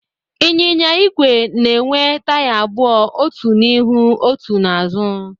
Ịnyịnya igwe na-enwe taya abụọ, otu n'ihu, otu n'azụ.